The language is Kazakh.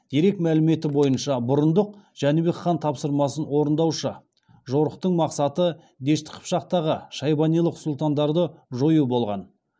дерек мәліметі бойынша бұрындық жәнібек хан тапсырмасын орындаушы жорықтың мақсаты дешті қыпшақтағы шайбанилық сұлтандарды жою болған